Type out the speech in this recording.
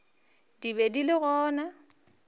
di be di le gona